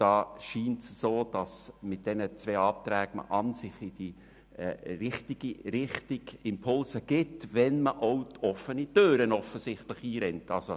Es scheint, dass mit diesen zwei Anträgen Impulse in die richtige Richtung erfolgen, auch wenn man dabei offene Türen einrennt.